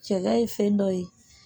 Cɛya ye fɛn dɔ ye